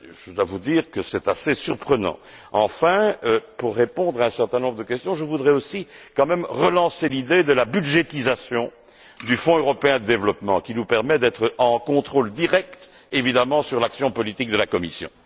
Je dois vous dire que c'est assez surprenant. Enfin, pour répondre à un certain nombre de questions, je voudrais aussi quand même relancer l'idée de la budgétisation du Fonds européen de développement, qui nous permet d'être en contrôle direct évidemment sur l'action politique de la Commission.